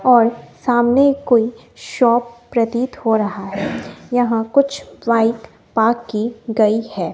और सामने कोइ शॉप प्रतीत हो रहा है यहां कुछ बाइक पार्क की गई है।